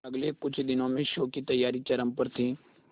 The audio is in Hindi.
अगले कुछ दिनों में शो की तैयारियां चरम पर थी